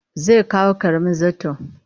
Zai kawo ƙaramin zarton